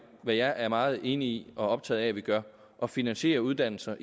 hvad jeg er meget enig i og optaget af at vi gør at finansiere uddannelser